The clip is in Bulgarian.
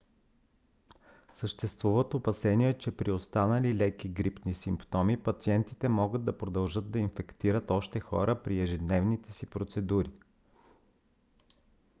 съществуват опасения че при останали леки грипни симптоми пациентите могат да продължат да инфектират още хора при ежедневните си процедури